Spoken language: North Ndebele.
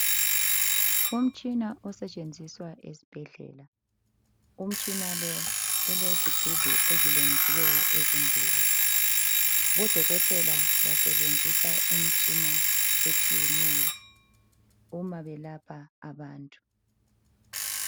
Umtshina osetshenziswa esibhedlela. Umtshina lo ulezigubhu ezilengisiweyo ezimbili. Odokotela basebenzisa imitshina etshiyeneyo uma belapha abantu.